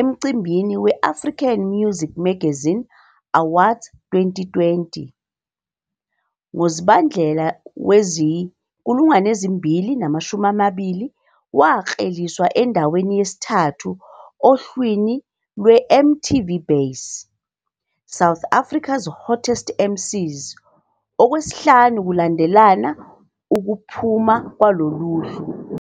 emcimbini we-African Muzik Magazine Awards 2020. NgoZibandlela wezi-2020, wakleliswa endaweni yesithathu ohlwini lwe-MTV Base- SA's Hottest MCs, okwesihlanu kulandelana ukuphuma kulolohlu.